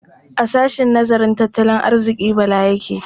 A sahshen nazarin tattalin arziƙi Bala yake?